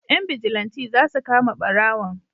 Yan bijilanti za su kama barawon